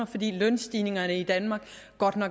fordi lønstigningerne i danmark